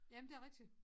Jamen det rigtig